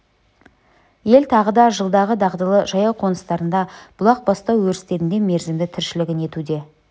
ел тағы да жылдағы дағдылы жайлау-қоныстарында бұлақ бастау өрістерінде мерзімді тіршілігін етуде